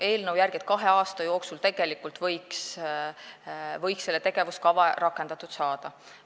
Eelnõu järgi võiks kahe aasta jooksul see tegevuskava rakendatud saada.